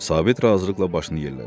Sabit razılıqla başını yellədi.